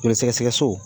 Joli sɛgɛsɛgɛ so